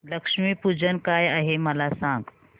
लक्ष्मी पूजन काय आहे मला सांग